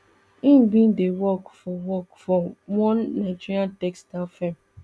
im bin dey work for work for one nigerian textiles firm